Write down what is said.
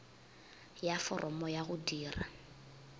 ya foromo ya go dira